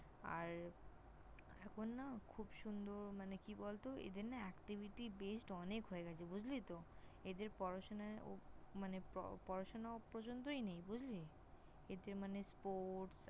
আর এখন না খুব সুন্দর মানে কি বলত এদের না Activity Based অনেক হয়ে গেছে বুঝলি তো? এদের পড়াশোনায় মানে পড়াশোনা পর্যন্তই নেই। বুঝলি?